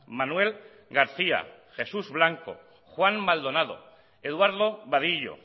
manuel garcía jesús blanco juan maldonado eduardo vadillo